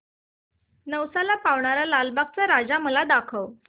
नवसाला पावणारा लालबागचा राजा मला दाखव